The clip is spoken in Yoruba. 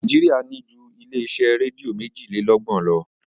Nàíjíríà ní ju ilé-iṣẹ́ rédíò méjìlélọ́gbọ̀n lọ.